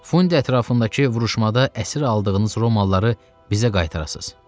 Fundi ətrafındakı vuruşmada əsir aldığınız romalıları bizə qaytarasız.